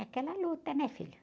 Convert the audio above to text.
Aquela luta, né, filho?